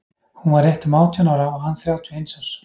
Hún var rétt um átján ára og hann þrjátíu og eins árs.